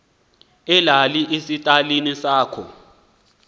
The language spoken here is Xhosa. ilale esitalini sakho